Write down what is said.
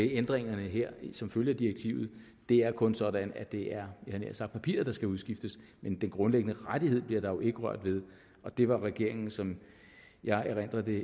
ændringerne her som følge af direktivet det er kun sådan at det er havde nær sagt papiret der skal udskiftes men den grundlæggende rettighed bliver der jo ikke rørt ved det var regeringen som jeg erindrer det